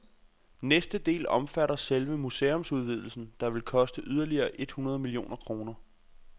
Næste del omfatter selve museumsudvidelsen, der vil koste yderligere et hundrede millioner kroner.